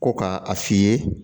Ko ka a f'i ye